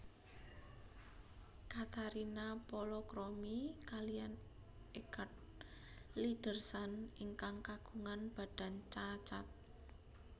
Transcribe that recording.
Katarina palakrami kaliyan Eggard Lydersson ingkang kagungan badan cacat